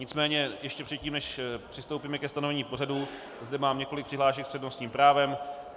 Nicméně ještě předtím, než přistoupíme ke stanovení pořadu, zde mám několik přihlášek s přednostním právem.